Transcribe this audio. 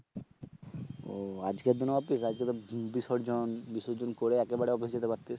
ও আজকের দিনেও অফিস আজকে তো বিসর্জন বিসর্জন করে একেবারে অফিস এ যেতে পারতিস